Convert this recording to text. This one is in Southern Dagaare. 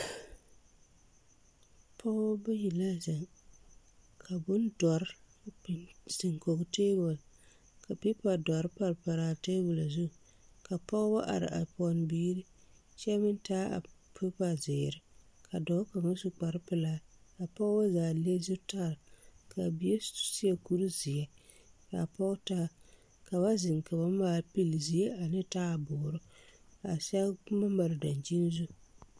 Pɔɔbɔ bayi la zeŋ ka bondɔre biŋ zeŋ kɔge tabol ka peepa dɔre pare paraa tabol zu ka pɔɔbɔ are a pɛne biire kyɛ meŋ taa a peepa zeere ka dɔɔ kaŋa su kparepelaa kaa pɔɔbɔ zaa le zutare kaa bie seɛ kuri zeɛ kaa pɔɔ taa ka ba zeŋ ka ba maale pile zie ane taaboore a sɛge boma mare daŋkyini zu.